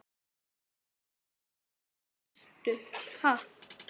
Ég er nú ekki barnanna bestur, ha.